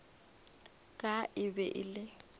ka e be e le